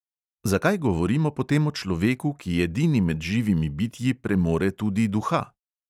Zakaj govorimo potem o človeku, ki edini med živimi bitji premore tudi duha?